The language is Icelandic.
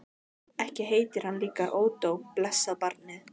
Ekki heitir hann líka Ódó, blessað barnið.